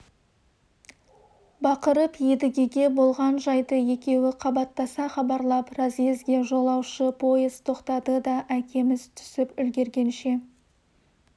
бақырып едігеге болған жайды екеуі қабаттаса хабарлап разъезге жолаушы пойыз тоқтады да әкеміз түсіп үлгіргенше